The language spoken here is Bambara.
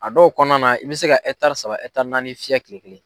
A dɔw kɔnɔna na i bɛ se ka etari saba etari naani fiyɛ kile kelen.